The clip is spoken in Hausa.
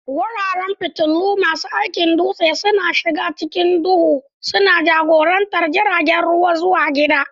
Wuraren fitilu, masu aikin dutse, suna shiga cikin duhu, suna jagorantar jiragen ruwa zuwa gida.